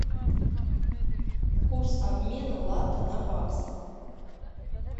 курс обмена лата на баксы